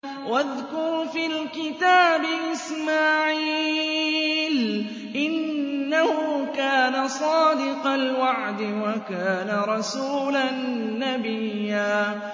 وَاذْكُرْ فِي الْكِتَابِ إِسْمَاعِيلَ ۚ إِنَّهُ كَانَ صَادِقَ الْوَعْدِ وَكَانَ رَسُولًا نَّبِيًّا